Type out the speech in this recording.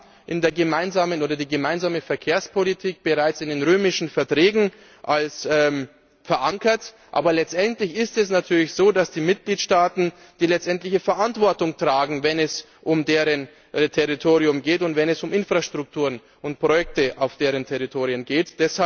Wir haben die gemeinsame Verkehrspolitik bereits in den römischen Verträgen verankert, aber letztendlich ist es natürlich so, dass die Mitgliedstaaten die letztendliche Verantwortung tragen, wenn es um deren Territorium und wenn es um Infrastruktur und Projekte auf deren Territorien geht.